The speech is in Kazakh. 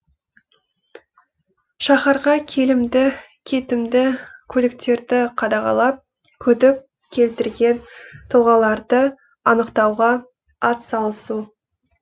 шаһарға келімді кетімді көліктерді қадағалап күдік келтірген тұлғаларды анықтауға атсалысу